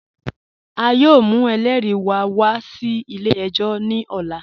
A yọọ mù ẹlẹ́ri wá wà sí ilẹ̀-ẹ̀jọ̀ ní òlà.